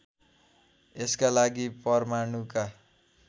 यसका लागि परमाणुका